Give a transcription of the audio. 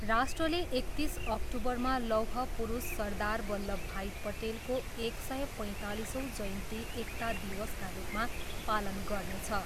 राष्ट्रले एकतिस अक्टुबरमा लौह पुरुष सरदार वल्लभ भाई पटेलको एक सय पैँतालिसौँ जयन्ती एकता दिवसका रूपमा पालन गर्नेछ।